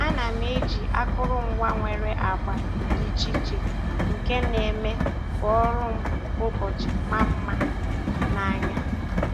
A na m m eji akụrụngwa nwere agba dị iche iche nke na - eme ka ọrụ m kwa ụbọchị maa mma n'anya.